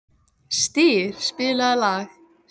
Styr, spilaðu lag.